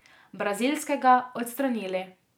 Brazilskega, odstranili.